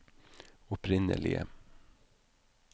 opprinnelige